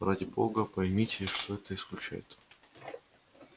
ради бога поймите что это исключает